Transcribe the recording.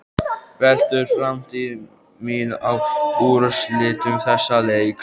Veltur framtíð mín á úrslitum þessa leiks?